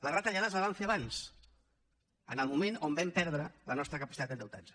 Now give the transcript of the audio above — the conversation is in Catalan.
les retallades les van fer abans en el moment que vam perdre la nostra capacitat d’endeutar nos